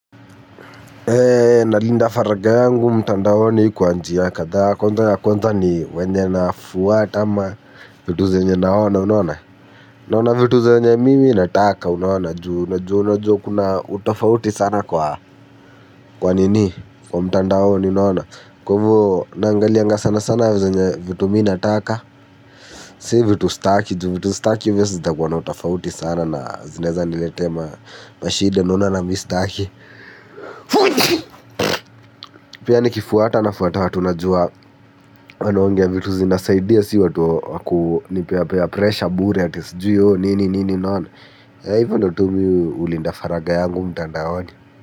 Nalinda faragha yangu mtandaoni kwa njia kadhaa kwanza ya kwanza ni wenye na fuata ama vitu za zenye naona unona? Naona vitu zenye mimi nataka unaona juu. Najua unajua kuna utofauti sana kwa kwanini? Kwa mtandaoni unaona? Kwa hivyo naangalianga sana sana zenye vitu mi nataka. Si vitu sitaki juu vitu s taki hizo zitakuna utofauti sana na zinwezaniletea ma mashida naona nami sitaki. Pia nikifuata nafuata watu najua. Wanaongea vitu zinasaidia si watu wakupeapea presha bure ati sijui o nini nini unaona hivyo ndo tu mi hulinda faragha yangu mtandaoni.